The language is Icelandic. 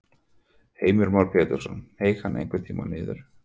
Heimir Már Pétursson: Hneig hann einhvern tímann niður?